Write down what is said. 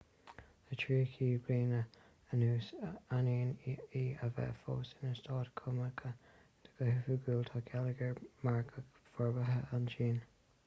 le tríocha bliain anuas ainneoin í a bheith fós ina stát cumannach go hoifigiúil tá geilleagar margaidh forbartha ag an tsín